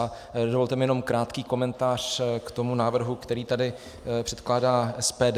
A dovolte mi jenom krátký komentář k tomu návrhu, který tady předkládá SPD.